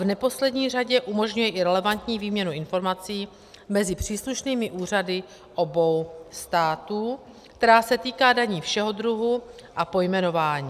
V neposlední řadě umožňuje i relevantní výměnu informací mezi příslušnými úřady obou států, která se týká daní všeho druhu a pojmenování.